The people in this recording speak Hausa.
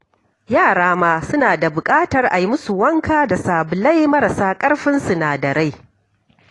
Yara ma suna da buƙatar a yi musu wanka da sabulai marasa ƙarfin sinadarai.